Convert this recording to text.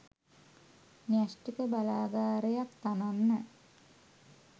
න්‍යෂ්ටික බලාගාරයක් තනන්න